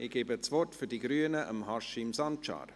– Das Wort für die Grünen hat Haşim Sancar.